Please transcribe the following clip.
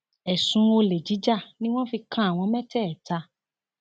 ẹsùn olè jíjà ni wọn fi kan àwọn mẹtẹẹta